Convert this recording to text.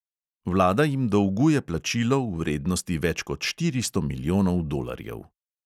Vlada jim dolguje plačilo v vrednosti več kot štiristo milijonov dolarjev.